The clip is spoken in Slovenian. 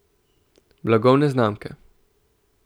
Blagovne znamke.